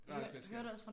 Var også lidt skørt